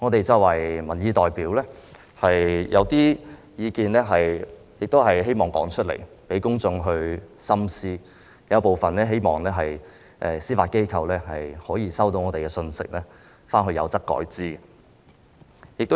作為民意代表，我們希望說出一些意見讓公眾深思，亦希望司法機構會考慮部分意見，收到我們表達的信息，有則改之。